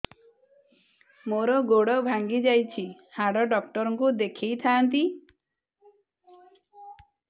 ମୋର ଗୋଡ ଭାଙ୍ଗି ଯାଇଛି ହାଡ ଡକ୍ଟର ଙ୍କୁ ଦେଖେଇ ଥାନ୍ତି